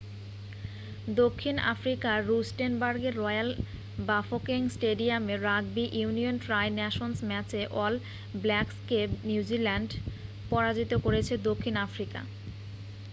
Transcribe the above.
দক্ষিণ আফ্রিকার রুস্টেনবার্গের রয়্যাল বাফোকেং স্টেডিয়ামে রাগবি ইউনিয়ন ট্রাই নেশনস ম্যাচে অল ব্ল্যাকসকে নিউজিল্যান্ড পরাজিত করেছে দক্ষিণ আফ্রিকা।